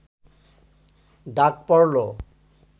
ডাক পড়ল